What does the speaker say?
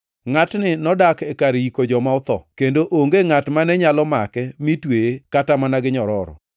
Ngʼatni nodak kar yiko joma otho, kendo onge ngʼat mane nyalo make mi tweye kata mana gi nyororo.